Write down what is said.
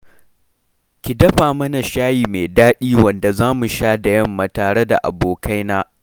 Ki dafa mana shayi mai daɗi wanda za mu sha da yamma tare da abokaina